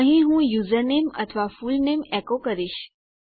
અહીં હું યુઝરનેમ અથવા ફૂલનેમ એકો કરીશ